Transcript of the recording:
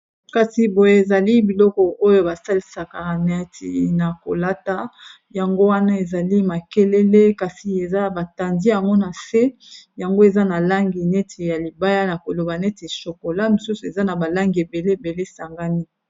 Kasi boye, ezali biloko oyo ba salisaka neti na kolata. Yango wana ezali makelele. Kasi eza ba tandi yango na se. Yango eza na langi, neti ya libaya, na koloba neti shokola. Mosusu eza, na ba langi ebele ebele esangani.